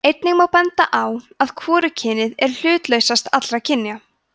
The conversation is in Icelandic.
einnig má benda á að hvorugkynið er hlutlausast allra kynja